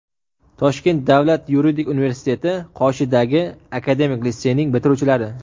Toshkent davlat yuridik universiteti qoshidagi akademik litseyning bitiruvchilari.